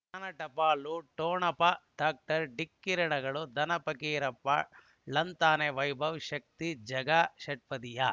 ಜ್ಞಾನ ಟಪಾಲು ಠೊಣಪ ಡಾಕ್ಟರ್ ಢಿಕ್ಕಿ ಣಗಳನು ಧನ ಫಕೀರಪ್ಪ ಳಂತಾನೆ ವೈಭವ್ ಶಕ್ತಿ ಝಗಾ ಷಟ್ಪದಿಯ